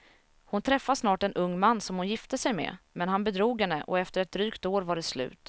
Hon träffade snart en ung man som hon gifte sig med, men han bedrog henne och efter ett drygt år var det slut.